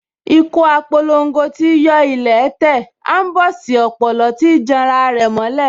Ikú á p’olongo tíí yọ́ ilẹ̀ẹ́ tẹ̀, aḿbọ̀sí ọ̀pòlọ́ tíí janra rẹ̀ mọ́ ilẹ̀